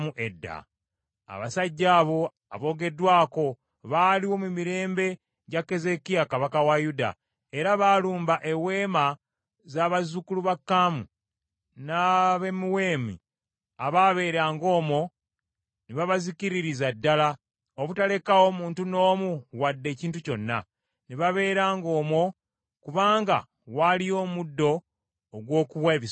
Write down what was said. Abasajja abo aboogeddwako baaliwo mu mirembe gya Keezeekiya kabaka wa Yuda, era baalumba eweema za bazzukulu ba Kaamu n’Abamewuni abaabeeranga omwo ne babazikiririza ddala, obutalekaawo muntu n’omu wadde ekintu kyonna. Ne babeeranga omwo kubanga waaliyo omuddo ogw’okuwa ebisibo byabwe.